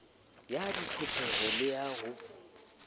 ya ditlhopheho le ha ho